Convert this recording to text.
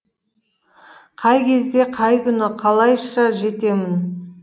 қай кезде қай күні қалайшы жетемін